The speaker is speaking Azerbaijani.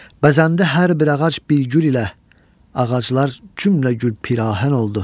Bəzəndə hər bir ağac bir gül ilə, ağaclar cümlə gül pirahən oldu.